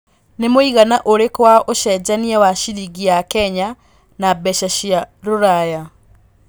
nĩ mũigana ũrĩkũ wa ũcenjanĩa wa cĩrĩngĩ ya Kenya na mbeca cĩa rũraya